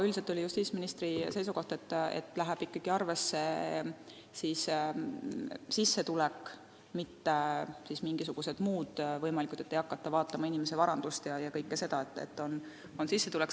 Üldiselt oli justiitsministri seisukoht, et arvesse läheb ikkagi sissetulek, mitte mingisugused muud võimalikud asjad, ei hakata vaatama inimese varandust ega kõike seda, arvesse läheb sissetulek.